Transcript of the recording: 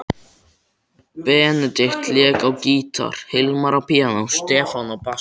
Benedikt lék á gítar, Hilmar á píanó, Stefán á bassa.